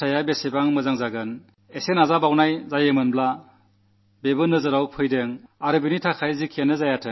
ശരിയായ ദിശയിലാണു നീങ്ങുന്നതെന്നും പരിണതി എത്ര നല്ലതാണെന്നും അല്പം ശ്രമത്തിലൂടെ എന്താണു നടക്കുന്നതെന്നും ഉറപ്പായി കാണാൻ സാധിച്ചു